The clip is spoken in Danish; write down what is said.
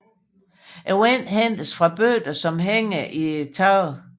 Vandet hentes fra bøtter som hænger i taget